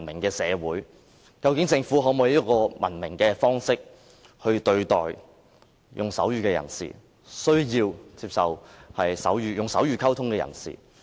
究竟政府是否用文明的方式來對待和接受使用手語溝通的人士？